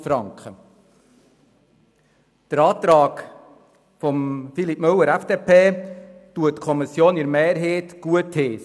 Den Antrag von Grossrat Müller heisst die Kommission mehrheitlich gut.